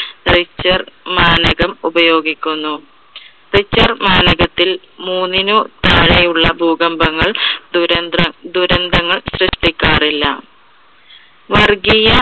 richter മാനകം ഉപയോഗിക്കുന്നു. richter മാനകത്തിൽ മൂന്നിനു താഴെ ഉള്ള ഭൂകമ്പങ്ങൾ ദുരന്ത~ദുരന്തങ്ങൾ സൃഷ്ടിക്കാറില്ല. വർഗ്ഗിയ